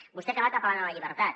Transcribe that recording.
vostè ha acabat apel·lant a la llibertat